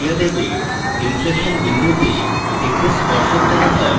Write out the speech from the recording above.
inflection বিন্দুতে একটি স্পর্শক টানা হয়